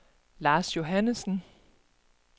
Lars Johannesen